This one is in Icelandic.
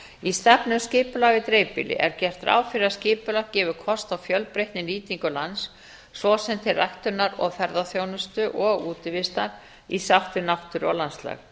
í stefnu um skipulag í dreifbýli er gert ráð fyrir að skipulag gefi kost á fjölbreytni um nýtingu lands svo sem til ræktunar og ferðaþjónustu og útivistar í sátt við náttúru og landslag